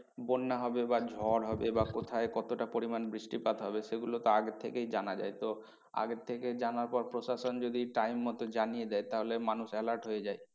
বন্যা হবে বা ঝড় হবে বা কোথায় কতটা পরিমান বৃষ্টিপাত হবে সেগুলো তো আগে থেকেই জানা যায় তো আগে থেকে জানার পর প্রশাসন যদি time মতো জানিয়ে দেয় তাহলে মানুষ alert হয়ে যায়।